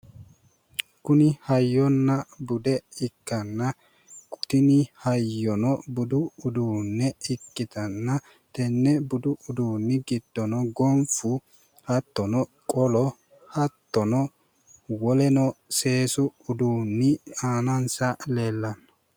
Kuni hayyonna bude ikkanna tini hayyono budu uduunne ikkitanna tenne budu uduunni giddono gonfu hattono qolo hattono woleno seesu uduunni aanansa leellanno